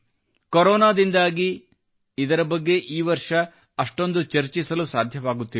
ಕೊರೊನಾದಿಂದಾಗಿ ಇದರ ಬಗ್ಗೆ ಈ ವರ್ಷ ಅಷ್ಟೊಂದು ಚರ್ಚಿಸಲು ಸಾಧ್ಯವಾಗುತ್ತಿಲ್ಲ